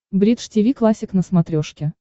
бридж тиви классик на смотрешке